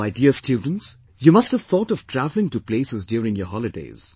My dear students, you must have thought of travelling to places during your holidays